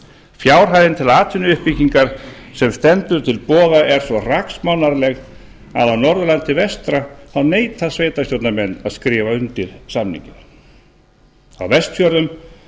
fjárhæðin til atvinnuuppbyggingar sem stendur til boða er svo hraksmánarleg að á norðurlandi vestra neita sveitarstjórnarmenn að skrifa undir samning á vestfjörðum